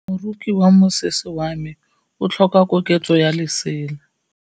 Moroki wa mosese wa me o tlhoka koketsô ya lesela.